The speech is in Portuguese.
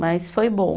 Mas foi bom.